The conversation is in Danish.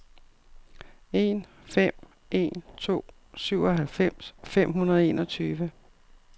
en fem en to syvoghalvfems fem hundrede og enogtyve